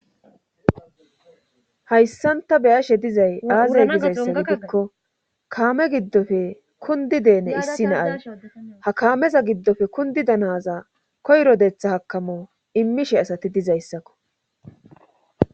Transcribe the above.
hayssanta beyashe dizay aaze gizayssa gidekko kaame giddofe kundi deene issi naay ha kaameza giddofe kundi danaza koyro detha hakamo immishe asati dizayssakko